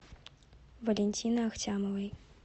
валентины ахтямовой